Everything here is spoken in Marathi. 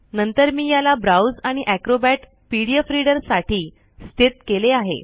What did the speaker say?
नंतर मी याला ब्राउज आणि एक्रोबॅट पीडीएफ रीडर साठी स्थित केले आहे